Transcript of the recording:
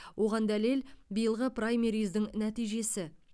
оған дәлел биылғы праймериздің нәтижесі